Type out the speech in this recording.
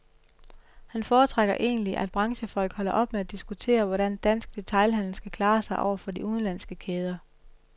Han foretrækker egentlig, at branchefolk holder op med at diskutere, hvordan dansk detailhandel skal klare sig over for de udenlandske kæder.